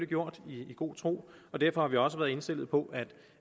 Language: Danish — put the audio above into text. gjort i god tro og derfor har vi også være indstillet på